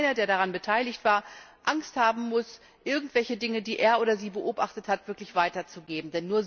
Dass also keiner der daran beteiligt war, Angst haben muss, irgendwelche Dinge, die er oder sie beobachtet hat, wirklich weiterzugeben.